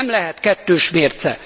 Nem lehet kettős mérce!